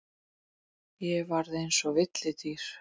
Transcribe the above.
Ég varð eins og villidýr.